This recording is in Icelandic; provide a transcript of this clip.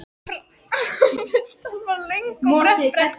Framundan var löng og brött brekka.